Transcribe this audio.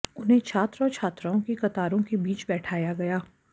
उन्हें छात्र और छात्राओं की कतारों के बीच बैठाया गया